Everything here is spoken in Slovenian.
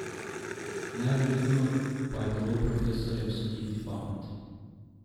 Nevljudno pa je bilo profesorjem soliti pamet.